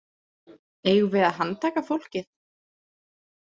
Eigum við að handtaka fólkið?